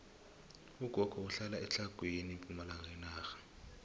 ugogo uhlala etlhagwini pumalanga yenarha